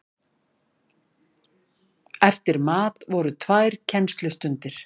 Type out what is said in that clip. Eftir mat voru tvær kennslustundir.